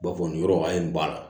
B'a fɔ nin yɔrɔ a ye nin ba la